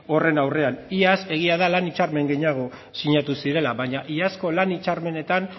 horren aurrean iaz egia da lan hitzarmen gehiago sinatu zirela baina iazko lan hitzarmenetan